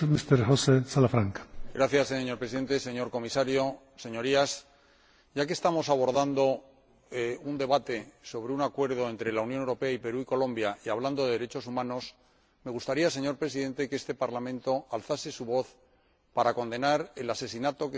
Señor Presidente, señor Comisario, Señorías, ya que estamos abordando un debate sobre un Acuerdo entre la Unión Europea y Perú y Colombia, y hablando de derechos humanos, me gustaría, señor Presidente, que este Parlamento alzase su voz para condenar el asesinato que se produjo en el día de ayer